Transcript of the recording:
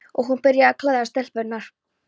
Og hún byrjaði að klæða stelpurnar.